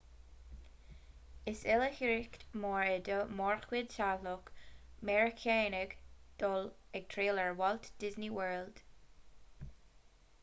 is oilithreacht mhór é do mhórchuid teaghlach meiriceánach dul ag triall ar walt disney world